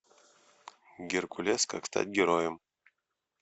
геркулес как стать героем